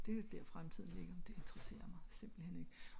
fordi det er jo der fremtiden ligger men det interesserer mig simpelthen ik